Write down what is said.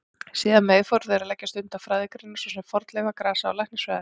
Síðar meir fóru þeir að leggja stund á fræðigreinar svo sem fornleifa-, grasa- og læknisfræði.